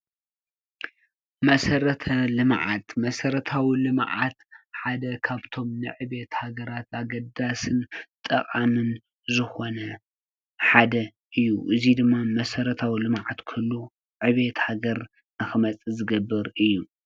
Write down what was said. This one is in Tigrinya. መሰረታዊ ልምዓት ሓደ ካብቶም ንዕቤት ሃገራት ኣገዳሲን ጠቃሚን ዝኮነ ሓደ እዪ። እዚ ድማ መሰረታዊ ልምዓት ክህሉ ዕቤት ሃገር ንክመፅእ ዝገብር እዪ ።